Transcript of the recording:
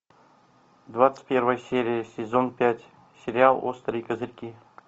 двадцать первая серия сезон пять сериал острые козырьки